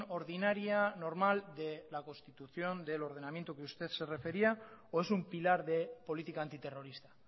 ordinaria o normal de la constitución del ordenamiento que usted se refería o es un pilar de política antiterrorista